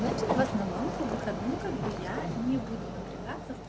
значит в основном по выходным как бы я не буду напрягаться